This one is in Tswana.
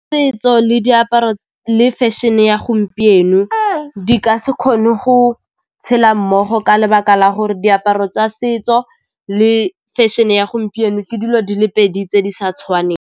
Setso le diaparo le fashion-e ya gompieno di ka se kgone go tshela mmogo ka lebaka la gore diaparo tsa setso le fashion-e ya gompieno ke dilo di le pedi tse di sa tshwaneng.